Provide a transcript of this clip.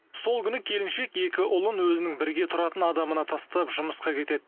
сол күні келіншек екі ұлын өзінің бірге тұратын адамына тастап жұмысқа кетеді